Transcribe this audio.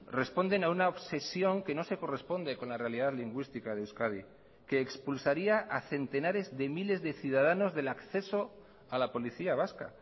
responden a una obsesión que no se corresponde con la realidad lingüística de euskadi que expulsaría a centenares de miles de ciudadanos del acceso a la policía vasca